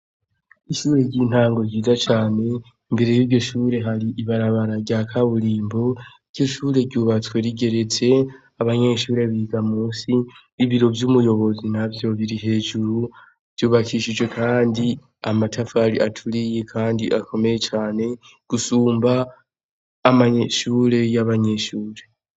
Ishure ry'intango ryiza cane imbere y'iryoshure hari ibarabara ryakaburimbo. Iryoshure ryubatse rigeretse abanyeshure biga musi, ibiro vy'umurongozi navyo biri hejuru vyubakishijwe kandi amatafari aturiye kandi akomeye cane gusumba amanyeshure y'abanyeshure.